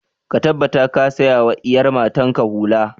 Ka tabbata ka saya wa iyar matan ka hula!